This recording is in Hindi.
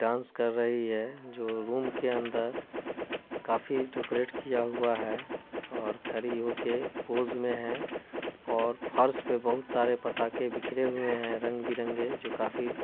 डांस कर रही है जो रूम के अंदर काफी डोकोरेट किया हुआ है और खरी होके पोज़ में है और फर्श पे बोहोत सारे पताके बिखरे हुए है रंग बिरंगे जो काफी--